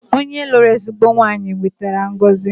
Onye lụrụ ezigbo nwaanyị wetara ngọzi